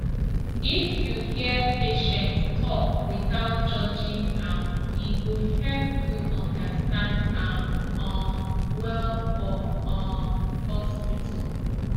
if you hear patient talk without judging am e go help you understand am um well for um hospital